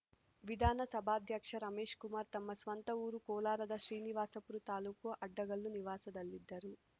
ವಿಧಾನಸಭಾಧ್ಯಕ್ಷ ರಮೇಶ್‌ಕುಮಾರ್ ತಮ್ಮ ಸ್ವಂತ ಊರು ಕೋಲಾರದ ಶ್ರೀನಿವಾಸಪುರ ತಾಲ್ಲೂಕು ಅಡ್ಡಗಲ್ಲು ನಿವಾಸದಲ್ಲಿದ್ದರು